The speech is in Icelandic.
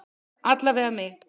Alla vega mig.